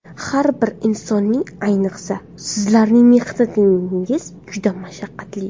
Har bir insonning, ayniqsa, sizlarning mehnatingiz juda mashaqqatli.